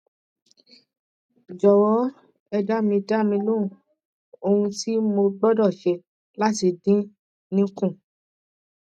jọwọ ẹ dá mi dá mi lóhùn ohun tí mo gbọdọ ṣe láti dín in kù